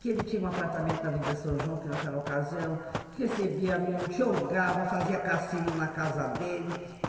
Que ele tinha um apartamento na avenida São João, que naquela ocasião recebia muito, jogava, fazia cassino na casa dele.